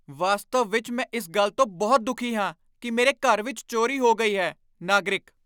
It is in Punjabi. ਵਾਸਤਵ ਵਿਚ ਮੈ ਇਸ ਗੱਲ ਤੋਂ ਬਹੁਤ ਦੁਖੀ ਹਾਂ ਕੀ ਮੇਰੇ ਘਰ ਵਿੱਚ ਚੋਰੀ ਹੋ ਗਈ ਹੈ ਨਾਗਰਿਕ